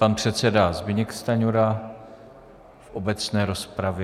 Pan předseda Zbyněk Stanjura v obecné rozpravě.